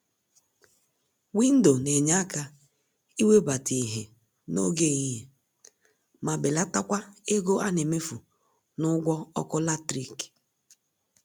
Windo nenye àkà iwebata ìhè n'oge ehihie ma belatakwa ego anemefu n'ụgwọ ọkụ latrik.